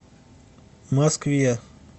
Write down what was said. москве